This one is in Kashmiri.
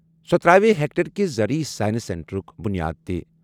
سۄ تراوِ ہیکٹرکہِ زرعی سائنس سینٹرُک بُنیاد تہِ۔